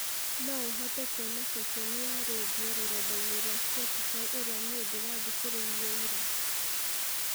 no ũhote kuona ceceni ya rĩndiũ rũrenda-inĩ rwa spotify ĩrĩa niĩ ndĩrathikĩrĩirie ira